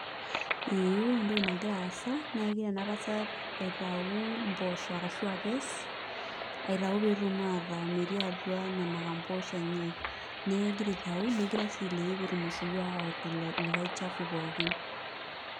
Ee ore entoki nagira aasa naa kegira ena tasat aitayu mpoosho ashu akees aitayu pee etum aataa metii atua nena kamposh enye neeku kegira aitau negira sii ailepie pee etum osiwuo aawa lelo likai chafu pookin.